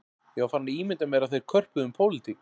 Ég var farinn að ímynda mér að þeir körpuðu um pólitík